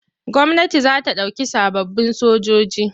Gwamnati za ta ɗauki sababbin sojoji.